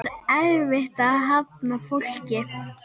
Er erfitt að hafna fólki?